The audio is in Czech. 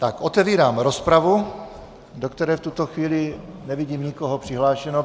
Tak otevírám rozpravu, do které v tuto chvíli nevidím nikoho přihlášeného.